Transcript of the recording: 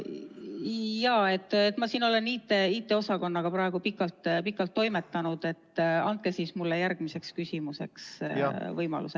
Jaa, ma siin olen IT-osakonnaga praegu pikalt toimetanud, nii et andke mulle siis järgmiseks küsimuseks võimalus.